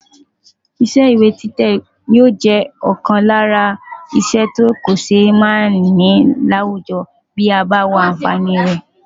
Iṣẹ́ ìwé títẹ̀ yóò jẹ́ ọ̀kan lára iṣẹ́ tí kò ṣe é máà ní láwùjọ bí a bá wo àǹfààní rẹ̀.